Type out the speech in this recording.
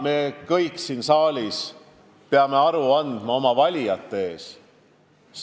Me kõik siin saalis peame aru andma oma valijate ees.